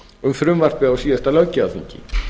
um frumvarpið á síðasta löggjafarþingi